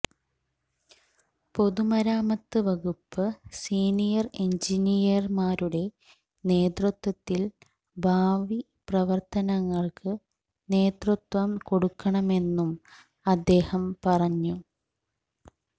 പൊതുമരാമത്ത് വകുപ്പ് സീനിയര് എന്ജിനീയര്മാരുടെ നേതൃത്വത്തില് ഭവി പ്രവര്ത്തനങ്ങള്ക്ക് നേതൃത്വം കൊടുക്കണമെന്നും അദ്ദേഹം പറഞ്ഞു